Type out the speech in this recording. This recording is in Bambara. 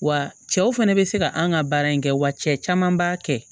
Wa cɛw fɛnɛ be se ka an ka baara in kɛ wa cɛ caman b'a kɛ